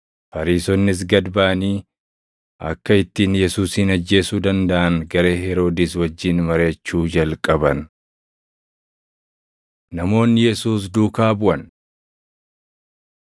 Fariisonnis gad baʼanii akka ittiin Yesuusin ajjeesuu dandaʼan garee Heroodis wajjin mariʼachuu jalqaban. Namoonni Yesuus Duukaa Buʼan 3:7‑12 kwf – Mat 12:15,16; Luq 6:17‑19